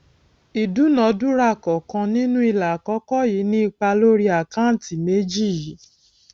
ìdúnàdúràá kọọkan nínú ilà àkọkọ yìí ni ipa lórí àkáǹtì méjì yìí